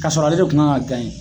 Ka sɔrɔ ale de kun ka kan gaɲɛ